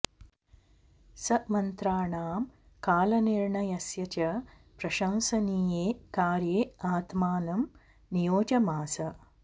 स मन्त्राणां कालनिर्णयस्य च प्रशंसनीये कार्ये आत्मानं नियोजयामास